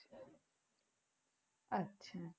আচ্ছা